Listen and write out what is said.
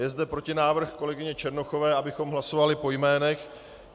Je zde protinávrh kolegyně Černochové, abychom hlasovali po jménech.